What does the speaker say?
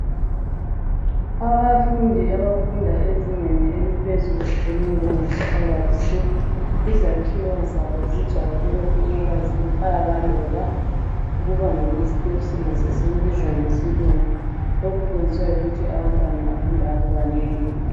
Abafundi abafunda ezingeni eliphezulu elinjengesecondary school izakhiyo zabo zijayele ukuba zintaba loba ukuba ngamasteps nxa sesikubiza ngesilungi lokhu kwenziwa yikuthi abantwana abafunda lapha banengi.